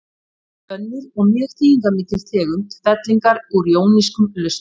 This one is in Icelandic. Það er til önnur og mjög þýðingarmikil tegund fellingar úr jónískum lausnum.